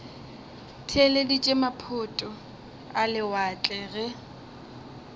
theeleditše maphoto a lewatle ge